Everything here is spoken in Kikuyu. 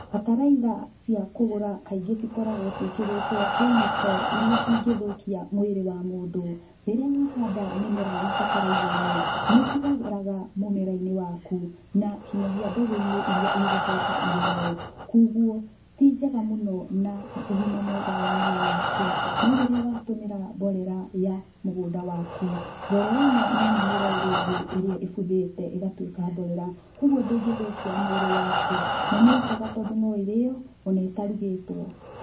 Bataraitha cia kũgũra kaingĩ cikoragwo ciĩkĩrĩtwo kemiko iria ingĩthũkia mwĩrĩ wa mũndũ. Rĩrĩa wahanda mĩmera na bataraitha ĩno, nĩ ĩtigaraga mũmera-inĩ waku na nginyagia mbegũ-inĩ iria igũcoka irĩo. Kwoguo ti njega mũno na ũgima mwega wa mwĩrĩ waku, no rĩrĩa watũmĩra mborera ya mũgũnda waku, mborera ĩno no mĩmera ĩrĩa ĩngĩ ĩrĩa ĩbuthĩte ĩgatuĩka mborera, koguo ndĩngĩthũkia mwĩrĩ waku na nĩ njega tondũ no ĩrĩo ona ĩtarugĩtwo.